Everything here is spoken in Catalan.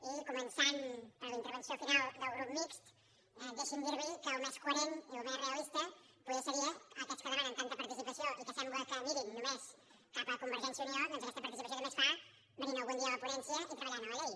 i començant per la intervenció final del grup mixt deixi’m dir li que el més coherent i el més realista potser seria aquests que demanen tanta participació i que sembla que mirin només cap a convergència i unió doncs aquesta participació també es fa venint algun dia a la ponència i treballant a la llei